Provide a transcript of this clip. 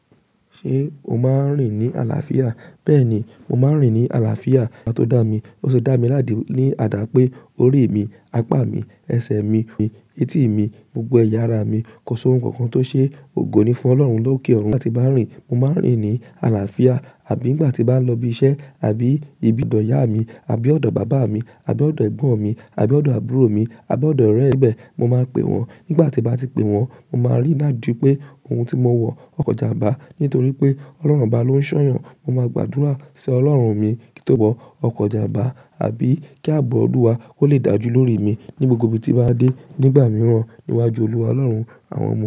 Ṣé o máa ń rìn ní àlàáfíà? Bẹ́ẹ̀ni, mo máa ń rìn ní àlàáfíà. Ọba tó dá mi, ó sì dá mi ládìí ní àdá pé, orí mi, apá mi, ẹsẹ̀ mi, etí mi, gbogbo ẹ̀yà ara mi, kọ só oun kan kan tó ṣe ògo ni fún Ọlọ́run lókè ọ̀run. Nígbà tí bàá n rìn, mo máa ń rìn ní àlàáfíà, àbí nígbà tí màá lọ ibi iṣẹ́, àbí ibi ọ̀dọ̀ ìyá mi, àbí ọ̀dọ̀ bàbá mi, àbí ọ̀dọ̀ Ẹ̀gbọ́n mi, àbí ọ̀dọ̀ àbúrò mi, àbí ọ̀dọ̀ ọ̀rẹ́ n bẹ́ẹ̀, mo máa pe wọ́n. Nígbà tí bàá ti pe wọ́n, mo máa rí i ládìí pé oun tí mo wọ, ọkọ̀ jàmbá nítorí pé Ọlọ́run bà á ló ń ṣọ̀yàn. Mo máa gbàdúrà si Ọlọ́run mi kí tóbọ́ ọkọ̀ jàmbá àbí kí ààbọ̀ Olúwa ó lè dàjú lórí mi ní gbogbo ibi tí màá dé nígbà mìíràn níwájú Olúwa Ọlọ́run àwọn ọmọ rẹ̀.